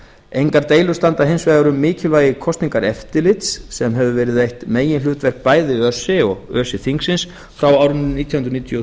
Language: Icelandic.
engar deilur standa hins vegar um mikilvægi kosningaeftirlits sem hefur verið eitt meginhlutverk bæði öse og öse þingsins frá árinu nítján hundruð níutíu og